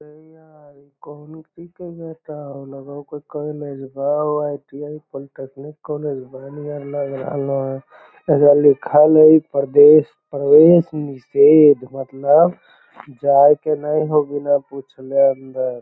अरे यार इ कोनो की कहियो ताऊ लगो है कोई कॉलेजवा हउ आई.टी.आई. पॉलिटेक्निक कॉलेजवा नियर लग रहलो हे | एजा लिखल हई प्रवेस प्रवेस निषेध मतलब जाये के नये हो बिना पुछले अंदर |